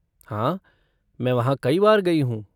हाँ, मैं वहाँ कई बार गई हूँ।